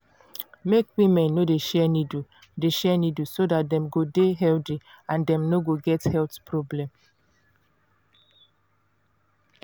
make women no dey share needle dey share needle so dat dem go dey healthy and dem no go get health problem